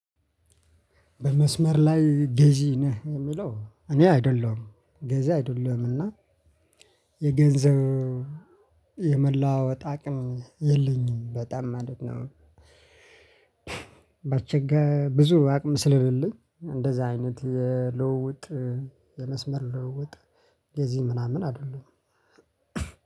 በመስመር ላይ ገዢ ነህ የሚለው እኔ አይደለሁም ገዢ አይደለሁም እና የገንዘብ የመላዋወጥ አቅም የለኝም በጣም ማለት ነው። ባቸገ ብዙ አቅም ስለለኝ እንደዛ አይነት የልውውጥ የመስመር ለውውጥ ገዥ ምናምን አይደለሁም።